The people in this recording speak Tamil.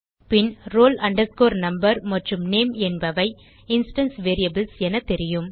பின் roll number மற்றும் நேம் என்பவை இன்ஸ்டான்ஸ் வேரியபிள்ஸ் என தெரியும்